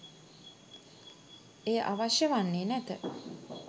එය අවශ්‍ය වන්නේ නැත.